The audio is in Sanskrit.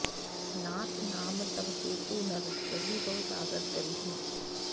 नाथ नाम तव सेतु नर चढ़ि भव सागर तरिहिं